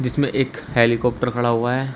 इसमें एक हेलीकॉप्ट खड़ा हुआ है।